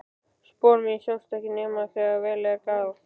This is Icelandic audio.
Spor mín sjást ekki nema þegar vel er að gáð.